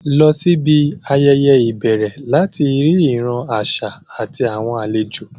Lọ síbi ayẹyẹ ìbẹ̀rẹ̀ láti rí ìran àṣà àti àwọn àlejò